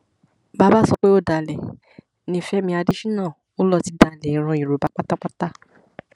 bàbá sọ pé ọdàlẹ ni fẹmi adésínà ó lọ ti dalẹ ìran yorùbá pátápátá